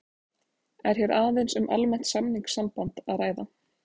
Er hér aðeins um almennt samningssamband að ræða.